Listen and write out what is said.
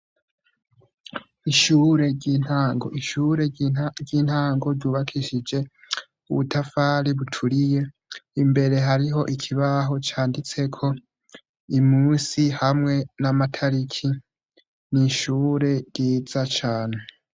ishure ry'intango, ishure ry'intango ryubakishije ubutafari buturiye imbere hariho ikibaho canditseko umusi hamwe n'amatariki, n’ishure ryiza cane.